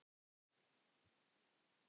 Átaks er þörf.